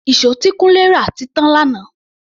Ìṣó tí Kunle rà ti tán lánàá.